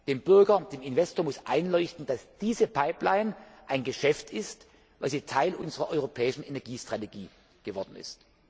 Dem Bürger und dem Investor muss einleuchten, dass diese Pipeline ein Geschäft ist, weil sie Teil unserer europäischen Energiestrategie geworden ist.